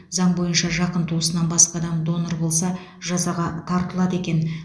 заң бойынша жақын туысынан басқа адам донор болса жазаға тартылады екен